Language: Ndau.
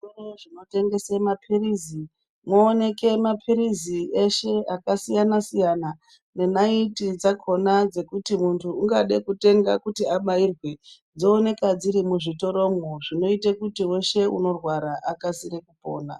Muzvitoro zvinotengesa mapirizi moonekwa mapirizi eshe akasiyana siyana nenaiti dzakona dzekuti muntu ungada kutenga kuti abairwe dzoonekwa dziri muzvitoromwo zvinoite weshe unorwara akasire kupona.